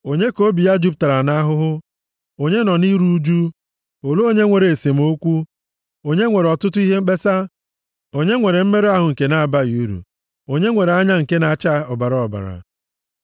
Onye ka obi ya jupụtara nʼahụhụ? Onye nọ na iru ụjụ? Olee onye nwere esemokwu? Onye nwere ọtụtụ ihe mkpesa? Onye nwere mmerụ ahụ nke na-abaghị uru? Onye nwere anya nke na-acha ọbara ọbara?